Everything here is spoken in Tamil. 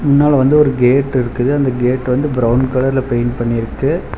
முன்னால வந்து ஒரு கேட் இருக்குது அந்த கேட் வந்து பிரவுன் கலர்ல பெயிண்ட் பண்ணிருக்கு.